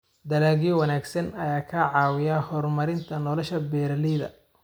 Dalagyo wanaagsan ayaa ka caawiya horumarinta nolosha beeralayda.